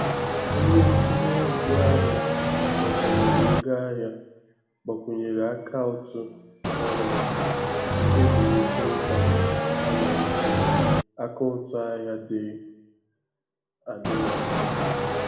Onye ntinye ego ahịa gbakwunyere ego ahịa gbakwunyere akaụtụ ọhụrụ nke ezumike nká ha na nke akaụtụ ahịa dị adị na mbụ.